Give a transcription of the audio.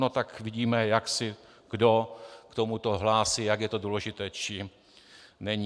No tak vidíme, jak se kdo k tomuto hlásí, jak je to důležité, či není.